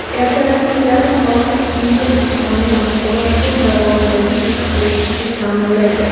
Ertalabki yarim soatlik yengil jismoniy mashg‘ulot kun davomidagi tetiklikni ta’minlaydi.